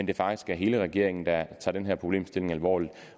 det faktisk er hele regeringen der tager den her problemstilling alvorligt